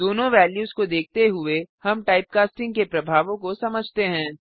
दोनों वेल्यूस को देखते हुए हम टाइपकास्टिंग के प्रभावों को समझते हैं